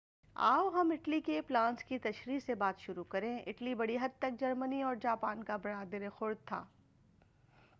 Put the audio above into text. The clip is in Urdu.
آو ہم اٹلی کے پلانس کی تشریح سے بات شروع کریں اٹلی بڑی حد تک جرمنی اور جاپان کا برادرِ خورد تھا